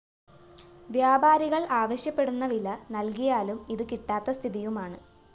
വ്യാപാരികള്‍ ആവശ്യപ്പെടുന്ന വില നല്‍കിയാലും ഇത് കിട്ടാത്ത സ്ഥിതിയുമാണ്